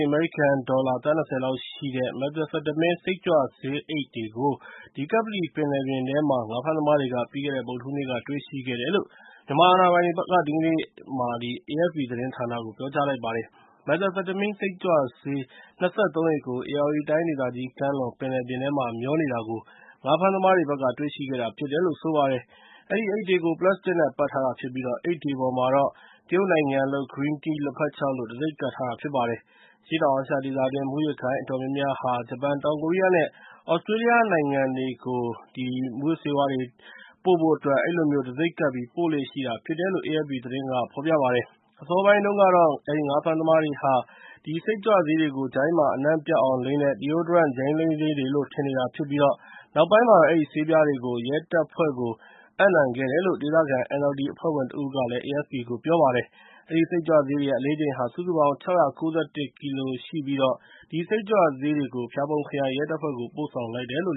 း အမေရိကန်ဒေါ်လာ သန်း ၂၀ လောက် တန်ဖိုးရှိတဲ့ Methamphetamine စိတ်ကြွဆေးအိတ်တွေကို ကပ္ပလီပင်လယ်ထဲမှာ ငါးဖမ်းသမားတွေက ပြီးခဲ့တဲ့ ဗုဒ္ဓဟူးနေ့က တွေ့ရှိခဲ့တယ်လို့ မြန်မာအာဏာပိုင်တွေက AFP သတင်းဌာနကို ဒီကနေ့မှာ ပြောကြားလိုက်ပါတယ်။ Methamphetamine စိတ်ကြွဆေး ၂၃ အိတ်ကို ဧရာဝတီတိုင်းဒေသကြီး ကမ်းလွန်ပင်လယ်ပြင်မှာ မျောနေတာကို ငါးဖမ်းသမားတွေက တွေ့ရှိခဲ့တာဖြစ်တယ်လို့ ဆိုပါတယ်။ အဲဒီအိတ်တွေကို ပလတ်စတစ်နဲ့ ပတ်ထားတာဖြစ်ပြီး အိတ်တွေပေါ်မှာတော့ တရုတ်နိုင်ငံလုပ် Green Tea လက်ဖက်ခြောက်လို့ တံဆိပ်ကပ်ထားတာ ဖြစ်ပါတယ်။ အရှေ့တောင်အာရှဒေသတွင်း မူးယစ်ဂိုဏ်းအတော်များများဟာ ဂျပန်၊ တောင်ကိုရီးယားနဲ့ သြစတြေးလျနိုင်ငံတွေကို မူးယစ်ဆေးဝါးတွေ ပို့ဖို့အတွက် အဲဒီလိုမျိုး တံဆိပ်ကပ်ပြီး ပို့လေ့ရှိကြတာဖြစ်တယ်လို့ AFP သတင်းမှာ ဖော်ပြပါတယ်။ အစောပိုင်းတုန်းကတော့ ငါးဖမ်းသမားတွေက အဲဒီ စိတ်ကြွဆေးတွေကို Deodorant ဂျိုင်းလိမ်းဆေးတွေလို့ ထင်နေတာဖြစ်ပြီး နောက်ပိုင်းမှာတော့ အဲဒီဆေးပြားတွေကို ရဲတပ်ဖွဲ့ကို အပ်နှံခဲ့တာဖြစ်တယ်လို့ ဒေသခံ NLD အဖွဲ့ဝင်တဦးက AFP ကို ပြောပါတယ်။ အဲဒီ စိတ်ကြွဆေးတွေရဲ့ အလေးချိန်ဟာ စုစုပေါင်း ၆၉၁ ကီလိုဖြစ်ပြီး အဲဒီ စိတ်ကြွဆေးတွေကို ဖျာပုံခရိုင်ရဲတပ်ဖွဲ့ကို ပို့ဆောင်လိုက်တယ်လို့